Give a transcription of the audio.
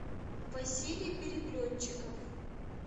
василий переплетчиков